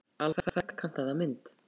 Alveg ferkantaða mynd.